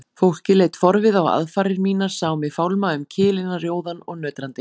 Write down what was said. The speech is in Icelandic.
Fólkið leit forviða á aðfarir mínar, sá mig fálma um kilina rjóðan og nötrandi.